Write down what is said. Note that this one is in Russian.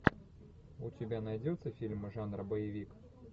у тебя найдется фильм жанра боевик